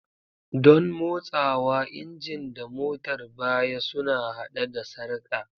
Don motsawa, injin da motar baya suna haɗe da sarka.